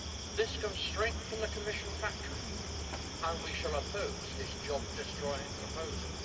This comes straight from the Commission factory, and we shall oppose this job destroying proposal.